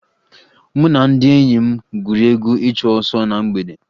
Mụ na ndị enyi m gwuru egwu ịchụ ọsọ na mgbede